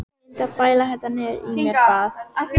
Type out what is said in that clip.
Ég reyndi að bæla þetta niður í mér, bað